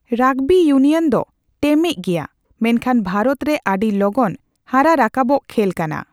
Rugby union ᱫᱚ ᱴᱮᱢᱮᱡ ᱜᱮᱭᱟ, ᱢᱮᱱᱠᱷᱟᱱ ᱵᱷᱟᱨᱚᱛ ᱨᱮ ᱟᱹᱰᱤ ᱞᱚᱜᱚᱱ ᱦᱟᱨᱟ ᱨᱟᱠᱟᱵᱚᱜ ᱠᱷᱮᱞ ᱠᱟᱱᱟ ᱾